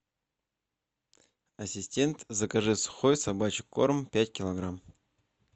ассистент закажи сухой собачий корм пять килограмм